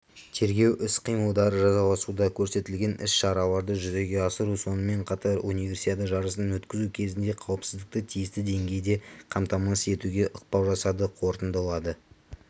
тергеу іс-қимылдары жалғасуда көрсетілген іс-шараларды жүзеге асыру сонымен қатар универсиада жарысын өткізу кезінде қауіпсіздікті тиісті деңгейде қамтамасыз етуге ықпал жасады қорытындылады